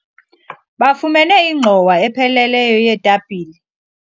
bafumene ingxowa epheleleyo yeetapile